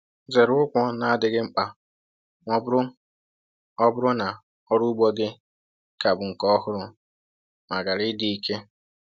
Zere ụgwọ na-adịghị mkpa ma ọ bụrụ ọ bụrụ na ọrụ ugbo gị ka bụ nke ọhụrụ ma ghara ịdị ike